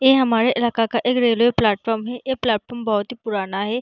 ये हमारे इलाका का एक रेलवे प्लेटफार्म है ये प्लेटफार्म बहुत ही पुराना है।